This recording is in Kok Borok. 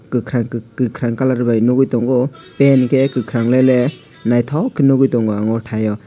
kokarang colour bai nogoitango tei hingke kokarang lele naitok ke nogoi tango o tai o.